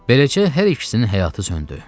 Beləcə hər ikisinin həyatı söndü.